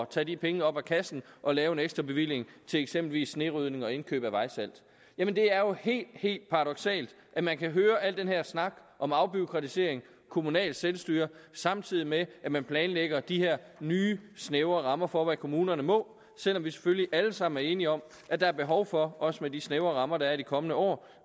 tage de penge op af kassen og lave en ekstra bevilling til eksempelvis snerydning og indkøb af vejsalt jamen det er jo helt helt paradoksalt at man kan høre al den her snak om afbureaukratisering og kommunalt selvstyre samtidig med at man planlægger de her nye snævre rammer for hvad kommunerne må selv om vi selvfølgelig alle sammen er enige om at der er behov for også med de snævre rammer der er i de kommende år